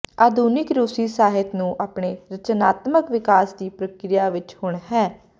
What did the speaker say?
ਆਧੁਨਿਕ ਰੂਸੀ ਸਾਹਿਤ ਨੂੰ ਆਪਣੇ ਰਚਨਾਤਮਕ ਵਿਕਾਸ ਦੀ ਪ੍ਰਕਿਰਿਆ ਵਿਚ ਹੁਣ ਹੈ